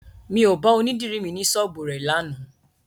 Mi ò bá onídìri mi ní ṣọ́ọ́bù rẹ̀ lánàá